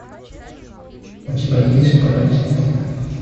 у тебя есть паразиты